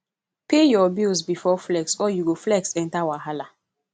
pay your bills before flex or you go flex enter wahala